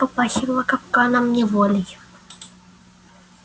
тут попахивало капканом неволей